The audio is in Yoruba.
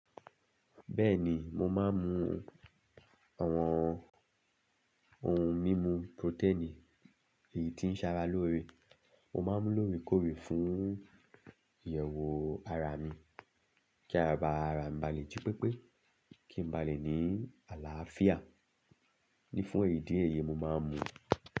Bẹ́ẹ̀ni, mo máa ń mu àwọn ohun mímu protein èyí tí ń ṣe ara lóore. Mo máa ń mu lóore kórè fún ìyẹ̀wò ara mi, kí ara bàrà, ba lè jí pépé, kí n ba lè ní àlàáfíà. Ní fún èyí díẹ̀ èyí mo máa ń mu.